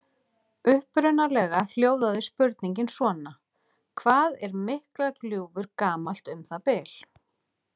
Upprunalega hljóðaði spurningin svona: Hvað er Miklagljúfur gamalt um það bil?